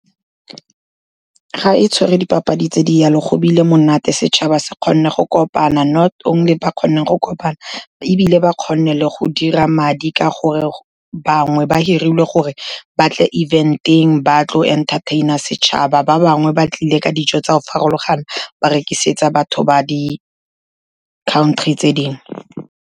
Ga e tshwere dipapadi tse di jalo, go bile monate, setšhaba se kgonne go kopana, not only ba kgonne go kopana, ebile ba kgonne le go dira madi ka gore banngwe ba hirilwe gore ba tle eventeng, ba tlo entertain-a setšhaba, ba bangwe ba tlile ka dijo tsa go farologana ba rekisetsa batho ba di-country tse dingwe.